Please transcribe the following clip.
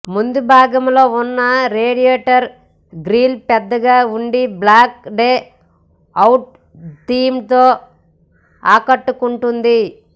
ముందుభాగంలో ఉన్న radiator grille పెద్దగా ఉండి బ్లాక్ డ్ అవుట్ థీమ్ తో ఆకట్టుకుంటోంది